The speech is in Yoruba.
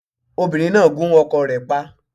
Obìnrín náà gún ọkọ rẹ̀ pa